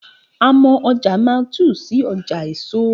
A mọ ọjà Mile 2 sí ọjà èso